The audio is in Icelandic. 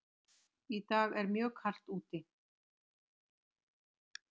Í dag er mjög kalt úti.